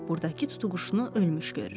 Burdakı tutuquşunu ölmüş görür.